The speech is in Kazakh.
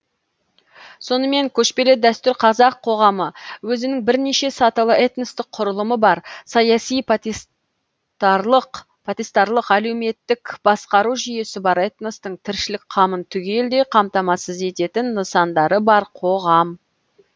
сонымен көшпелі дәстүрлі қазақ қоғамы өзінің бірнеше сатылы этностық құрылымы бар саяси потестарлық әлеуметтік басқару жүйесі бар этностың тіршілік қамын түгелдей қамтамасыз ететін нысандары бар қоғам